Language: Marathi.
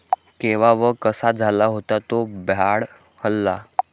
केव्हा व कसा झाला होता तो भ्याड हल्ला?